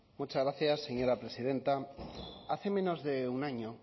muchas gracias presidenta hace menos de un año